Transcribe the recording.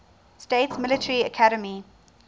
states military academy